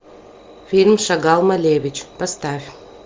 фильм шагал малевич поставь